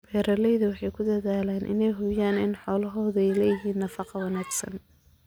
Beeraleydu waxay ku dadaalaan inay hubiyaan in xoolahoodu helaan nafaqo wanaagsan.